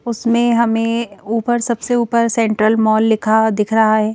उसमें हमें ऊपर सबसे ऊपर सेंट्रल मॉल लिखा दिख रहा है।